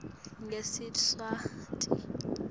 ngesiswati